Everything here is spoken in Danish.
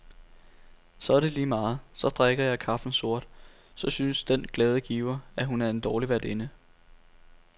Så er det lige meget, så drikker jeg kaffen sort, så synes den glade giver, at hun er en dårlig værtinde.